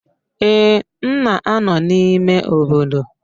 Ee, m na-anọ n'ime obodo